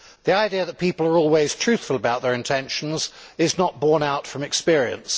The idea that people are always truthful about their intentions is not borne out from experience.